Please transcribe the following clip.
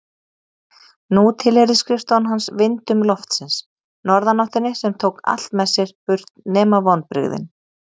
Nú tilheyrði skrifstofan hans vindum loftsins, norðanáttinni sem tók allt með sér burt nema vonbrigðin.